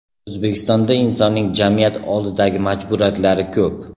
O‘zbekistonda insonning jamiyat oldidagi majburiyatlari ko‘p.